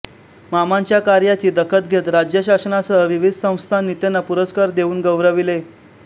मामांच्या कार्याची दखत घेत राज्यशासनासह विविध संस्थांनी त्यांना पुरस्कार देऊन गौरविले